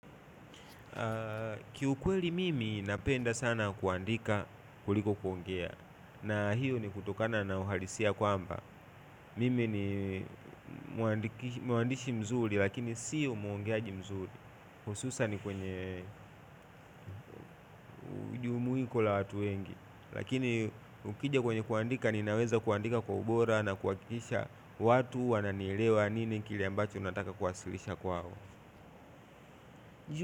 Kiukweli mimi napenda sana kuandika kuliko kuongea na hiyo ni kutokana na uhalisia kwamba mimi ni muandiki muandishi mzuri lakini siyo muongeaji mzuri hususan ni kwenye ujumuiko la watu wengi lakini ukija kwenye kuandika ninaweza kuandika kwa ubora na kuakikisha watu wananielewa nini kile ambacho nataka kuwasilisha kwao.